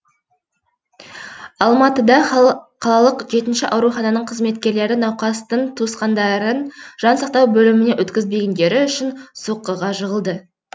алматыда қалалық жетінші аурухананың қызметкерлері науқастың туысқандарын жан сақтау бөліміне өткізбегендері үшін соққыға жығылды